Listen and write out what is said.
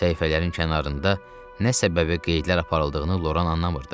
Səhifələrin kənarında nə səbəbi qeydlər aparıldığını Loran anlamırdı.